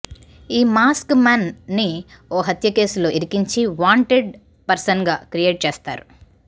ఈ mask man ని ఓ హత్య కేసులో ఇరికించి వాంటెండ్ పర్శన్ గా క్రియేట్ చేస్తారు